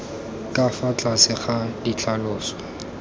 ka fa tlase ga ditlhaloso